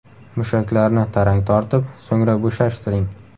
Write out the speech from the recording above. Mushaklarni tarang tortib, so‘ngra bo‘shashtiring.